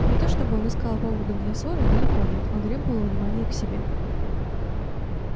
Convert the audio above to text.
не то чтобы он искал поводов для ссоры далеко нет он требовал внимания к себе